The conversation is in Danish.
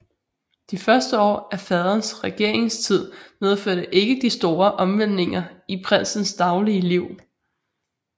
De første år af faderens regeringstid medførte ikke de store omvæltninger i prinsens daglige liv